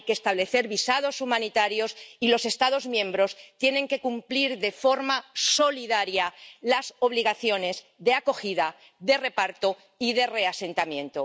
hay que establecer visados humanitarios, y los Estados miembros tienen que cumplir de forma solidaria las obligaciones de acogida, de reparto y de reasentamiento.